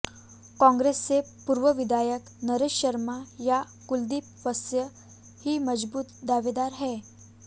कांग्रेस से पूर्व विधायक नरेश शर्मा या कुलदीप वत्स ही मजबूत दावेदार हैं